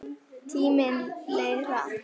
Tíminn leið hratt.